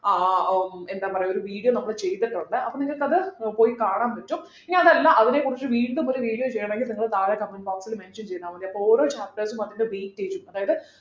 ആഹ് ഉം എന്താ പറയാ ഒരു video നമ്മൾ ചെയ്തിട്ടുണ്ട് അപ്പോ നിങ്ങൾക്ക് അത് ഉം പോയി കാണാൻ പറ്റും ഇനി അതല്ല അതിനെക്കുറിച്ച് വീണ്ടും ഒരു video ചെയ്യണമെങ്കിൽ നിങ്ങൾ താഴെ comment box ൽ mention ചെയ്താൽ മതി അപ്പൊ ഓരോ chapters ഉം അതിന്റെ weightage ഉം അതായത്